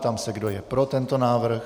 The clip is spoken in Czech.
Ptám se, kdo je pro tento návrh.